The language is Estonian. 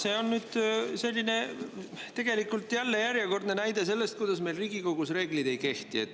See on nüüd järjekordne näide selle kohta, kuidas meil Riigikogus reeglid ei kehti.